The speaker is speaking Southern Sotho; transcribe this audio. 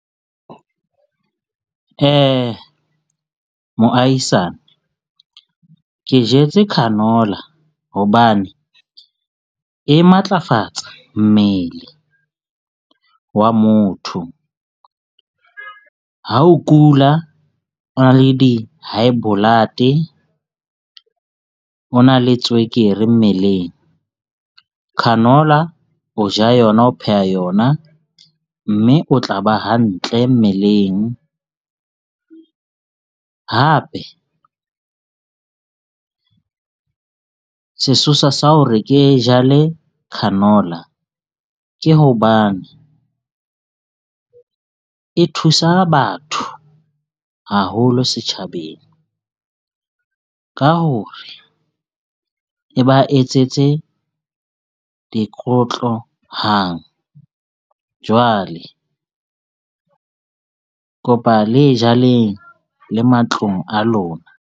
Moahisane ke jetse canola. Hobane e matlafatsa mmele wa motho. Ha o kula, o na le di-high blood-e o na le tswekere mmeleng. Canola o ja yona ho pheha yona. Mme o tla ba hantle mmeleng. Hape sesosa sa hore ke jale canola ke hobane e thusa batho haholo setjhabeng ka ho re, e ba etsetse dikotlo hang. Jwale kopa le jaleng le matlong a lona.